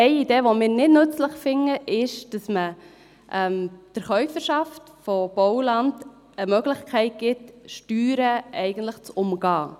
Eine Idee, die wir nicht nützlich finden, ist, dass man der Käuferschaft von Bauland die Möglichkeit gibt, Steuern eigentlich zu umgehen.